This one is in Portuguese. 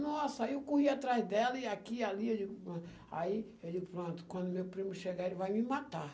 Nossa, aí eu corri atrás dela, e aqui, ali, aí eu digo aí eu digo pronto, quando meu primo chegar, ele vai me matar.